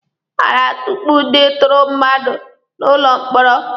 A na-atukpu ndị ntụrụ mmadụ n'ụlọ mkpọrọ.